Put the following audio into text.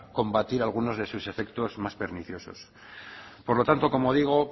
combatir algunos de sus efectos más perniciosos por lo tanto como digo